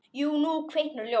Jú, nú kviknar ljós.